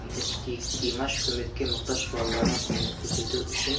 айта кетейік димаш көмекке мұқтаж балаларға көмек көрсету үшін